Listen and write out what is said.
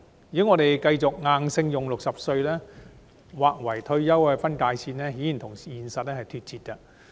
如果我們繼續硬性將60歲劃為退休分界線，顯然與現實脫節。